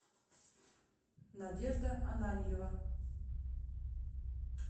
надежда ананьева